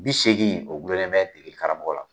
Bi seegin o gulolen bɛ degeli karamɔgɔ la.